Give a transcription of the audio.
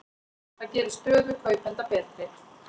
Það gerir stöðu kaupenda betri.